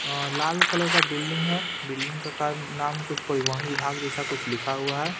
अम् लाल कलर का बिल्डिंग है बिल्डिंग का काम नाम कुछ परिवहन विभाग जैसा कुछ लिखा हुआ है।